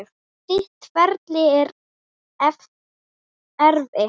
Þitt ferli er erfitt.